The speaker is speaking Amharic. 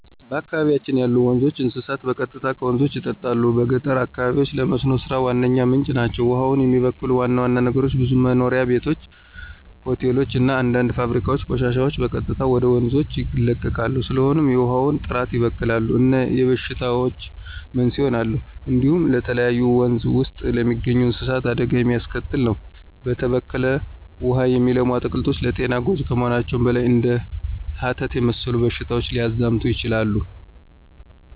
በአካባቢያችን ያሉ ወንዞች፣ እንስሳት በቀጥታ ከወንዞች ይጠጣሉ። በገጠር አካባቢዎች ለመስኖ ሥራ ዋነኛ ምንጭ ናቸው። ውሃውን የሚበክሉ ዋና ዋና ነገሮች ብዙ መኖሪያ ቤቶች፣ ሆቴሎች እና አንዳንድ ፋብሪካዎች ቆሻሻቸውን በቀጥታ ወደ ወንዞች ይለቃሉ። ስለሆነም የውሃውን ጥራት ይበክላሉ እና የበሽታዎች መንስኤ ይሆናሉ። እንዲሁም ለተለያዩ ወንዝ ውስጥ ለሚገኙ እንስሳት አደጋ የሚያስከትል ነው። በተበከለ ውሃ የሚለሙ አትክልቶች ለጤና ጎጅ ከመሆናቸውም በላይ እንደ ሀተት የመሰሉ በሽታዎች ሊያዛምቱ ይችላሉ።